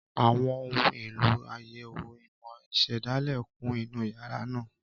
Àwọn ohun èlò àyẹ̀wò ìmọ̀ ìṣẹ̀dálẹ̀ kún inú yàrá náà.